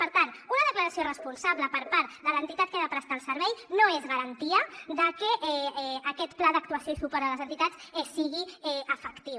per tant una declaració responsable per part de l’entitat que ha de prestar el servei no és garantia de que aquest pla d’actuació i suport a les entitats sigui efectiu